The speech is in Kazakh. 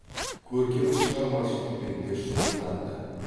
көркем шығармашылықпен де шұғылданды